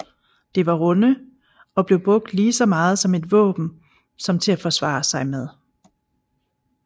Det var runde og blev brugt lige så meget som et våben som til at forsvare sig med